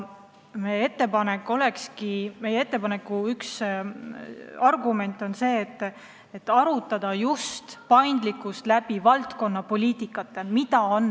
Ja meie ettepaneku üks argument ongi see, et tuleb arutada just paindlikkust valdkonnapoliitikate elluviimisel.